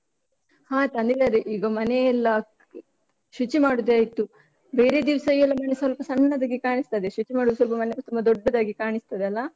ಹಾ ತಂದಿದ್ದಾರೆ, ಈಗ ಮನೆಯೆಲ್ಲ ಶುಚಿ ಮಾಡುದೆ ಆಯ್ತು, ಬೇರೆ ದಿವ್ಸ ಎಲ್ಲ ಮನೆ ಸ್ವಲ್ಪ ಸಣ್ಣದಾಗಿ ಕಾಣಿಸ್ತದೆ, ಶುಚಿ ಮಾಡುದು ಸ್ವಲ್ಪ ಮನೆ ಎಲ್ಲ ತುಂಬ ದೊಡ್ಡದಾಗಿ ಕಾಣಿಸ್ತದೆ ಅಲಾ?